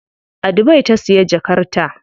A Dubai ta siya jakar ta.